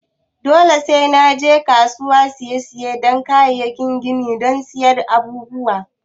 Dole sai na je kasuwar siyar da kayan gini don siyan abubuwan?